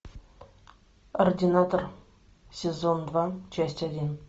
ординатор сезон два часть один